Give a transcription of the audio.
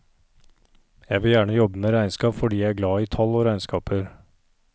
Jeg vil gjerne jobbe med regnskap fordi jeg er glad i tall og regnskaper.